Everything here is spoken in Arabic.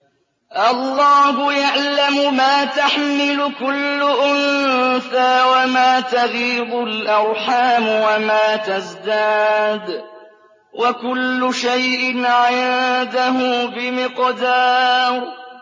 اللَّهُ يَعْلَمُ مَا تَحْمِلُ كُلُّ أُنثَىٰ وَمَا تَغِيضُ الْأَرْحَامُ وَمَا تَزْدَادُ ۖ وَكُلُّ شَيْءٍ عِندَهُ بِمِقْدَارٍ